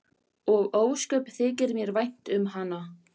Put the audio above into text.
Og ósköp þykir mér vænt um hana.